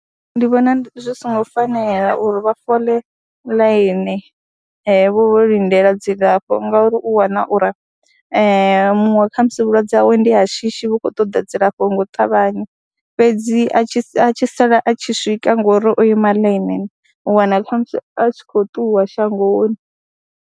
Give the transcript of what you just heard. Ndi vhona zwi songo fanela uri vha fole ḽaini vho lindela dzilafho ngauri u wana uri muṅwe kha musi vhulwadze hawe ndi ya shishi vhu khou ṱoda dzilafho nga u ṱavhanya fhedzi a tshi a tshi sala a tshi swika ngori o ima ḽainini u wana kha musi a tshi khou ṱuwa shangoni.